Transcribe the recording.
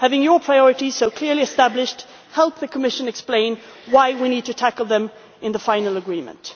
Having Parliament's priorities so clearly established helps the Commission explain why we need to tackle them in the final agreement.